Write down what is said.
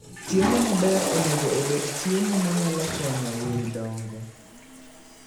Chiemo maber onego obed chiemo ma nyalo konyo winy dongo.